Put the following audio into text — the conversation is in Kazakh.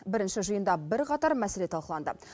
бірінші жиында бірқатар мәселе талқыланды